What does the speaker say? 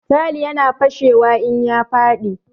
Tayal ya na fashewa in ya faɗi